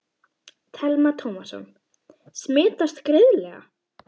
Telma Tómasson: Smitast greiðlega?